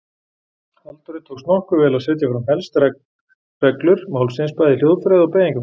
Halldóri tókst nokkuð vel að setja fram helst reglur málsins bæði í hljóðfræði og beygingarfræði.